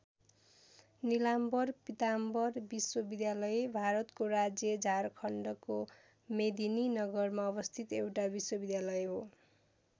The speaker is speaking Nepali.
नीलाम्बर पीताम्बर विश्वविद्यालय भारतको राज्य झारखण्डको मेदिनीनगरमा अवस्थित एउटा विश्वविद्यालय हो।